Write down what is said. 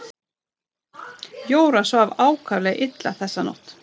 Jóra svaf ákaflega illa þessa nótt.